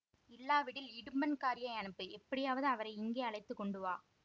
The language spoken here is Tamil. இல்லாவிடில் இடும்பன்காரியை அனுப்பு எப்படியாவது அவரை இங்கே அழைத்து கொண்டு வா